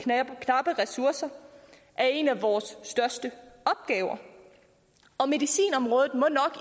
knappe ressourcer er en af vores største opgaver og medicinområdet